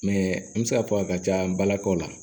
Mɛ n bɛ se k'a fɔ a ka ca n balakaw la